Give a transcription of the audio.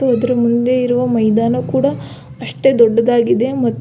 ಅದರ ಮುಂದೆ ಇರುವ ಮೈದಾನ ಕೂಡ ಅಷ್ಟೆ ದೊಡ್ಡದಾಗಿದೆ ಮತ್ತು.